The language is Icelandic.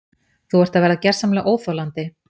Þú ert að verða gersamlega óþolandi!